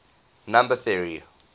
number theory